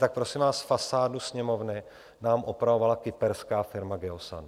Tak prosím vás, fasádu Sněmovny nám opravovala kyperská firma Geosan.